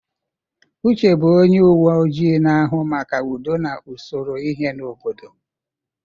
Uche bụ onye uwe ojii na-ahụ maka udo na usoro ihe n'obodo.